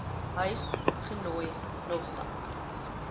huis genooi nogtans